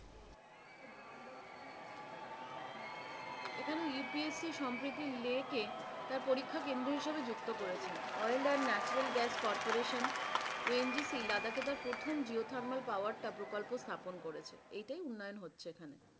এখানে UPSP সম্প্রীতি লেকে তার পরীক্ষা কেন্দ্র হিসেবে যুক্ত করেছে। Oil and Natural Gas CorporationONGC লাদাখে তার প্রথম geothermal power তার প্রকল্প স্থাপন করেছে। এইটাই উন্নয়ন হচ্ছে এখানে।